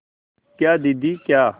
क्या दीदी क्या